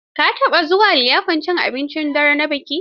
Ka taɓa zuwa liyafar cin abincin dare na biki?